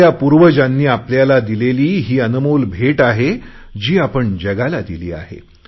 आपल्या पूर्वजांनी आपल्याला दिलेली ही अनमोल भेट आहे जी आपण जगाला दिली आहे